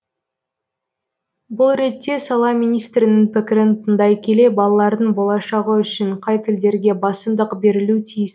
бұл ретте сала министрінің пікірін тыңдай келе балалардың болашағы үшін қай тілдерге басымдық берілу тиіс